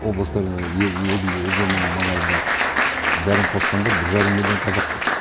облыстарында еділ өзеннің маңайында бәрін қосқанда бір жарым миллион қазақ бар